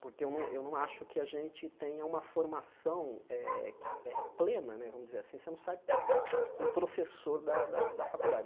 porque eu não eu não acho que a gente tenha uma formação eh que eh plena né, vamos dizer assim, você não sai um professor da da faculdade.